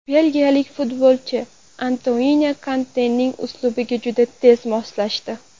Belgiyalik futbolchi Antonio Kontening uslubiga juda tez moslashdi.